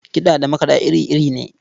Kiɗa da makaɗa iri-iri ne.